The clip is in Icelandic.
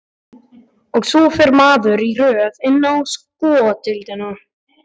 Og svo fer maður í röð inn á sko deildina.